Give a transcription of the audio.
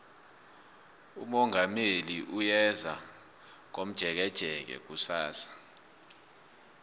umongameli uyeza komjekejeke kusasa